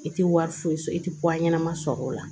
I tɛ wari foyi sɔrɔ i tɛ ɲɛnama sɔrɔ o la